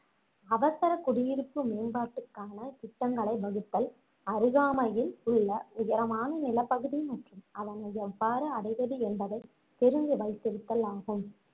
அவசர குடியிருப்பு மேம்பாட்டுக்கான திட்டங்களை வகுத்தல் அருகாமையில் உள்ள உயரமான நிலப்பகுதி மற்றும் அதனை எவ்வாறு அடைவது என்பதை தெரிந்து வைத்திருத்தல் ஆகும்